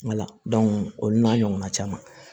olu n'a ɲɔgɔnna caman